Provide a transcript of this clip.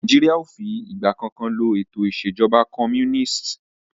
Nàìjíríà o fí ìgbà kankan lo ètò ìṣèjọba comúnìstì.